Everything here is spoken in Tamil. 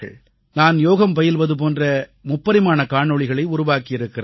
நான் யோகம் பயில்வது போன்ற முப்பரிமாண காணொளிகளை உருவாக்கியிருக்கிறார்கள்